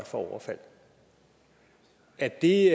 for overfald er det